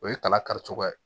O ye kala karicogo ye